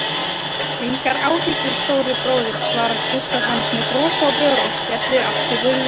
Engar áhyggjur, stóri bróðir, svarar systir hans með bros á vör og skellir aftur hurðinni.